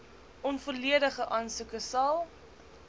onvolledige aansoeke sal